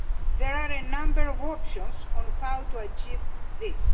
There are a number of options on how to achieve this.